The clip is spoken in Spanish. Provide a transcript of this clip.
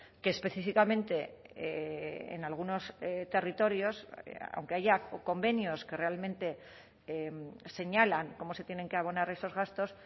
que específicamente en algunos territorios aunque haya convenios que realmente señalan cómo se tienen que abonar esos gastos